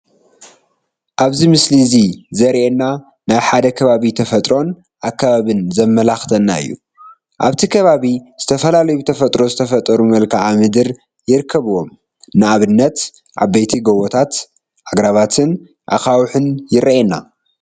ኣብዚ ምስሊ እዚ ዘሪኤና ናይ ሓደ ከባቢ ተፈጥሮን ኣከባብን ዘመልክተና እዩ፡፡ ኣብቲ ከባቢ ዝተፈላለዩ ብተፈጥሮ ዝተፈጠሩ መልከኣ-ምድሪ ይርከብዎም፡፡ ንኣብነት ዓበይቲ ጎቦታት፣ ኣግራባትን ኣኻውሕን ይርኤዩ፡፡